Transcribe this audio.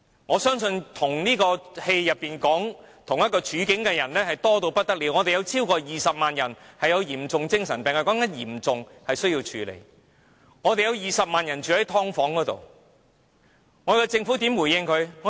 我相信與電影有相同處境的人多不勝數，我們有超過20萬人患有嚴重精神病，說的是達致嚴重程度的病人需要處理，我們有20萬人住在"劏房"，政府如何回應他們？